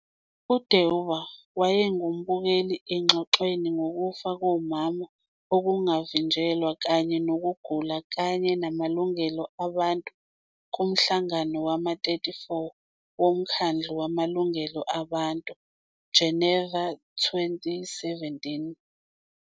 UDeuba wayengumbukeli engxoxweni ngokufa komama okungavinjelwa kanye nokugula kanye namalungelo abantu kumhlangano wama-34 woMkhandlu Wamalungelo Abantu, Geneva 2017.